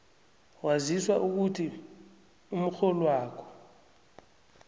waziswa ukuthi umrholwakho